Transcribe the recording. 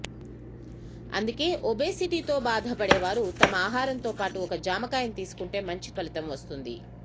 అందుకే ఒబేసిటీతో బాధపడేవారు తమ ఆహారంతోపాటూ ఒక జామకాయను తీసుకుంటే మంచి ఫలితం వస్తుంది